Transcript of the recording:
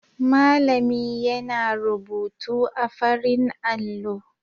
Malami yana rubutu a farin allo.